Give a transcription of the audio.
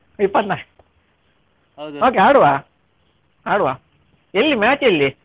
ಇಪ್ಪತ್ನಾಲ್ಕ okay ಆಡುವ ಆಡುವ ಎಲ್ಲಿ match ಎಲ್ಲಿ?